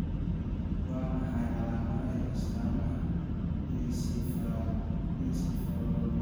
Waa maxay calaamadaha iyo astaamaha encephalomyopathy?